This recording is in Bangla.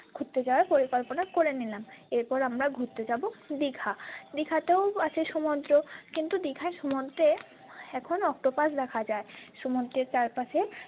ঘুরতে যাওয়ার পরিকল্পনা করে নিলাম এরপর আমরা ঘুরতে যাব দিঘা দিঘাতেও আছে সমুদ্র কিন্তু দিঘার সমুদ্রে এখন অক্টপাস দেখা যাই সমুদ্রের চারপাশে।